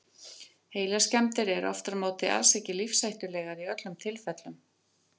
Heilaskemmdir eru aftur á móti alls ekki lífshættulegar í öllum tilfellum.